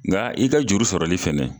Nga i ka juru sɔrɔli fɛnɛ